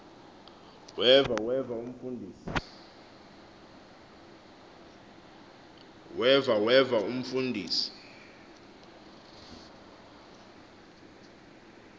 weva weva umfundisi